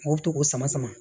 O to k'o sama sama